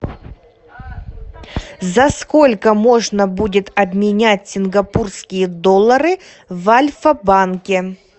за сколько можно будет обменять сингапурские доллары в альфа банке